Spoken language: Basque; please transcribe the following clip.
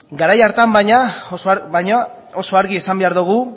garai hartan baina oso argi esan behar dugu